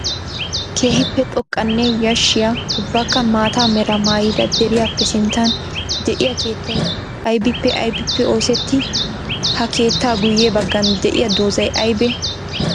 Keehippe xoqqanne yashiya ubbakka maata mera maayida deriyaape sinttan de'iyaa keettay aybbippe aybbippe oosetti? Ha keetta guye bagan de'iya doozay aybbe?